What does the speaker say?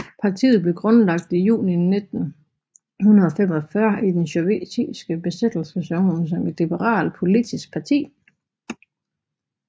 Partiet blev grundlagt i juni 1945 i den sovjetiske besættelseszone som et liberalt politisk parti